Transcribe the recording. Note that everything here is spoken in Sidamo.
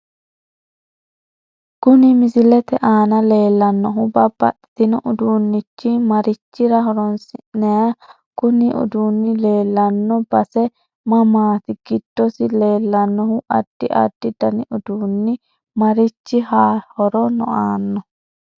Kuni misilete aana leelannohu babbaxino uduunichi marichira horoonsinayiho kuni uduuni leelanno base mamaati giddosi leelanohu addi addi dani uduuni marichi horo aano